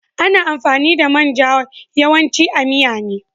Ana amfani da main ja yawanci a miya ne.